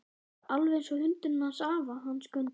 Alveg einsog hundurinn hans afa, hann Skundi.